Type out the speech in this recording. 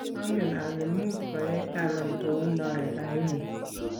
angen ale much koyai Talam kou noe raini.